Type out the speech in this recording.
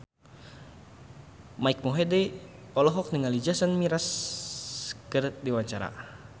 Mike Mohede olohok ningali Jason Mraz keur diwawancara